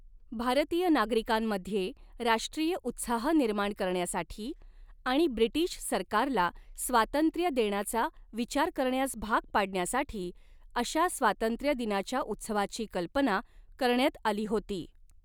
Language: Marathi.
भारतीय नागरिकांमध्ये राष्ट्रीय उत्साह निर्माण करण्यासाठी आणि ब्रिटिश सरकारला स्वातंत्र्य देण्याचा विचार करण्यास भाग पाडण्यासाठी अशा स्वातंत्र्यदिनाच्या उत्सवाची कल्पना करण्यात आली होती.